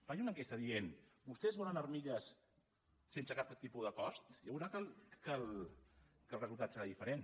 faci una enquesta que digui vostès volen armilles sense cap tipus de cost i ja veurà que el resultat serà diferent